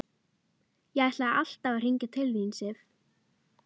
Ég ætlaði alltaf að hringja til þín, Sif.